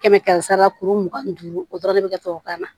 Kɛmɛ kɛmɛ sara kuru mugan ni duuru o dɔrɔn de be kɛ tubabukan na